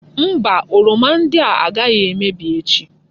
Mba! Oroma ndị a agaghị emebi echi.